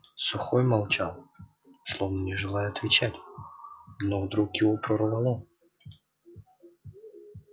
сухой молчал словно не желая отвечать но вдруг его прорвало